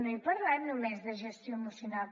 no he parlat només de gestioemocional